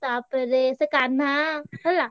ତା ~ ପରେ ସେ କାହ୍ନା ହେଲା।